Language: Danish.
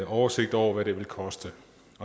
oversigt over hvad det vil koste